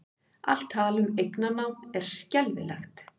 Allt tal um eignarnám er skelfilegt